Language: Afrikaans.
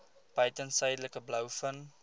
buiten suidelike blouvin